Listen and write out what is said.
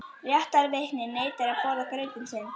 Réttarvitnið neitar að borða grautinn sinn.